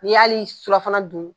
N'i y'ali surafana dun